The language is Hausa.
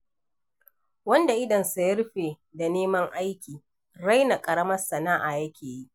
Wanda idonsa ya rufe da neman aiki, raina ƙaramar san'a yake yi.